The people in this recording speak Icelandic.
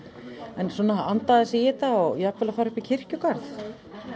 en svona anda aðeins í þetta og jafnvel fara upp í kirkjugarð